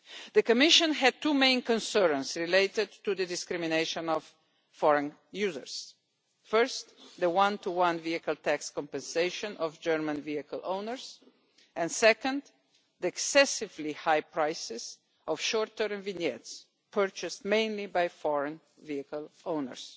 The Commission had two main concerns relating to discrimination against foreign users. First, the one to one vehicle tax compensation of German vehicle owners, and second, the excessively high prices of shorter vignettes, purchased mainly by foreign vehicle-owners.